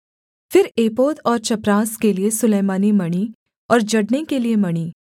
फिर एपोद और चपरास के लिये सुलैमानी मणि और जड़ने के लिये मणि